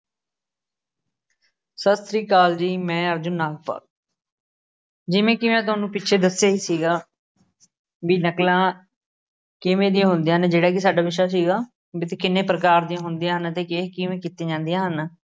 ਸਤਿ ਸ਼੍ਰੀ ਅਕਾਲ ਜੀ, ਮੈ ਅਰਜੁਨ ਨਾਗਪਾਲ ਜਿਵੇਂ ਕਿ ਮੈ ਤੁਹਾਨੂੰ ਪਿੱਛੇ ਦੱਸਿਆ ਹੀ ਸੀਗਾ, ਬਈ, ਨਕਲਾਂ ਕਿਵੇਂ ਦੀਆਂ ਹੁੰਦੀਆਂ ਹਨ ਜਿਹੜਾ ਕਿ ਸਾਡਾ ਵਿਸ਼ਾ ਸੀਗਾ, ਬਈ, ਇਹ ਕਿੰਨੇ ਪ੍ਰਕਾਰ ਦੀਆਂ ਹੁੰਦੀਆਂ ਹਨ ਅਤੇ ਇਹ ਕਿਵੇਂ ਕੀਤੀਆਂ ਜਾਂਦੀਆਂ ਹਨ।